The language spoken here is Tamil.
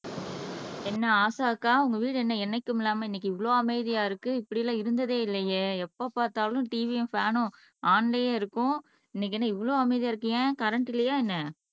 என்ன ஆஷாக்கா உங்க வீடு என்ன என்னைக்கும் இல்லாம இன்னைக்கு இவ்வளவு அமைதியா இருக்கு இப்படி எல்லாம் இருந்ததே இல்லையே எப்ப பார்த்தாலும் TV யும் ஃபேன்னும் ஒன்லையே இருக்கும் இன்னைக்கு என்ன இவ்வளவு அமைதியா இருக்கியே கரண்ட் இல்லையா என்ன